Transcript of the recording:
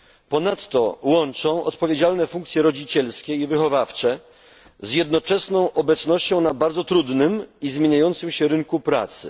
Ponadto łączą one odpowiedzialne funkcje rodzicielskie i wychowawcze z jednoczesną obecnością na bardzo trudnym i zmieniającym się rynku pracy.